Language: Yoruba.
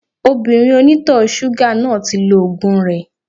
Obìnrin oní ìtọ̀ ṣúgà náà ti lo ògùn rẹ